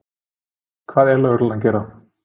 Hvað er lögreglan að gera?